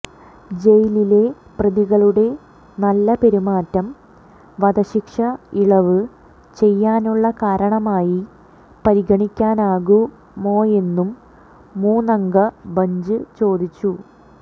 ജയിലിലെ പ്രതികളുടെ നല്ല പെരുമാറ്റം വധശിക്ഷ ഇളവ് ചെയ്യാനുള്ള കാരണമായി പരിഗണിക്കാനാകുമോയെന്നും മൂന്നംഗ ബെഞ്ച് ചോദിച്ചു